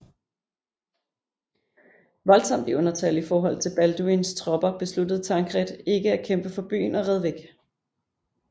Voldsomt i undertal i forhold til Balduins tropper besluttede Tancred ikke at kæmpe for byen og red væk